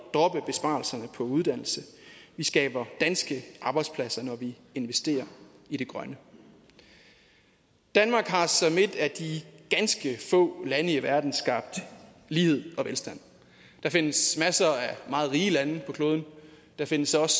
droppe besparelserne på uddannelse vi skaber danske arbejdspladser når vi investerer i det grønne danmark har som et af de ganske få lande i verden skabt lighed og velstand der findes masser af meget rige lande på kloden der findes også